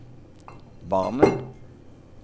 Barmen